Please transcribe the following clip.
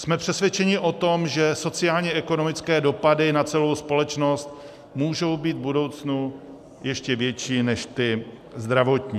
Jsme přesvědčeni o tom, že sociálně-ekonomické dopady na celou společnost můžou být v budoucnu ještě větší než ty zdravotní.